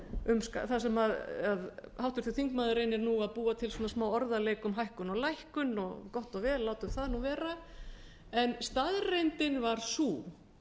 um það sem háttvirtur þingmaður reynir nú að búa til smá orðaleik um hækkun og lækkun og gott og vel látum það vera staðreyndin var sú